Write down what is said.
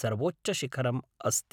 सर्वोच्चशिखरम् अस्ति।